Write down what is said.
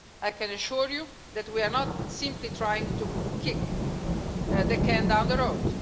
I can assure you that we are not simply trying to kick the can down the road.